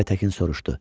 Aytəkin soruşdu: